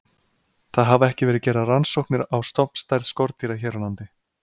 Það hafa ekki verið gerðar rannsóknir á stofnstærð skordýra hér á landi.